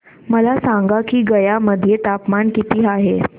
मला सांगा की गया मध्ये तापमान किती आहे